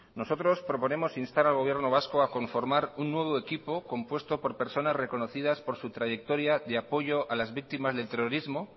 nosotros proponemos instar al gobierno vasco a conformar un nuevo equipo compuesto por personas reconocidas por su trayectoria de apoyo a las víctimas del terrorismo